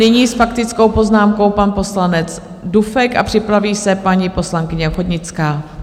Nyní s faktickou poznámkou pan poslanec Dufek a připraví se paní poslankyně Ochodnická.